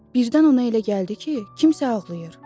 Birdən ona elə gəldi ki, kimsə ağlayır.